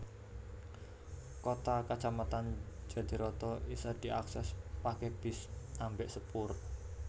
Kota kacamatan Jatiroto isa diakses pake bis ambèk sepur